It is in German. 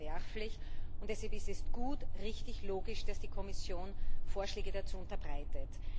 Das ist verwerflich, und deshalb ist es gut, richtig und logisch, dass die Kommission Vorschläge dazu unterbreitet.